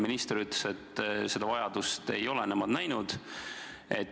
Minister ütles siis, et seda vajadust ei ole nemad näinud.